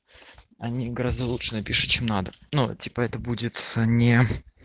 они гораздо лучше напишут чем надо ну типа это будет не